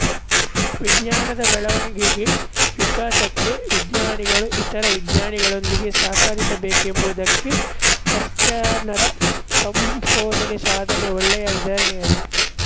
ವಿಜ್ಞಾನದ ಬೆಳವಣಿಗೆಗೆ ವಿಕಾಸಕ್ಕೆ ವಿಜ್ಞಾನಿಗಳು ಇತರ ವಿಜ್ಞಾನಿಗಳೊಂದಿಗೆ ಸಹಕರಿಸಬೇಕೆಂಬುದಕ್ಕೆ ಪ್ಯಾಶ್ಚರನ ಸಂಶೋಧನೆಸಾಧನೆ ಒಳ್ಳೆಯ ಉದಾಹರಣೆಯಾಗಿದೆ